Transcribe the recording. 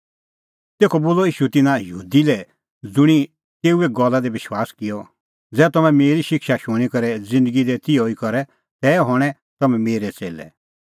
तेखअ बोलअ ईशू तिन्नां यहूदी लै ज़ुंणी तेऊए गल्ला दी विश्वास किअ ज़ै तम्हैं मेरी शिक्षा शूणीं करै ज़िन्दगी दी तिहअ ई करे तै हणैं तम्हैं मेरै च़ेल्लै